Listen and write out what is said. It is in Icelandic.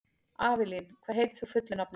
Avelín, hvað heitir þú fullu nafni?